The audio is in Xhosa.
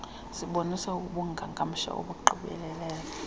sibonisa ubungangamsha obugqibeleleyo